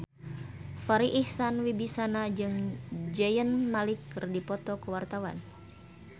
Farri Icksan Wibisana jeung Zayn Malik keur dipoto ku wartawan